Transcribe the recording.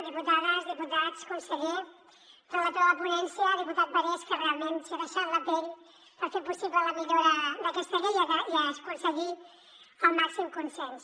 diputades diputats conseller relator de la ponència diputat parés que realment s’ha deixat la pell per fer possible la millora d’aquesta llei i aconseguir el màxim consens